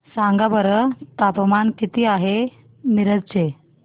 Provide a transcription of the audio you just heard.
सांगा बरं तापमान किती आहे मिरज चे